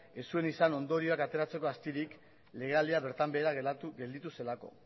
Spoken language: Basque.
ez zuen izan ondorioak ateratzeko astirik legealdia bertan behera gelditu zelako